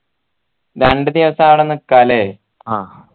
രണ്ട് ദിവസം അവിടെ നിക്ക അല്ലെ ആ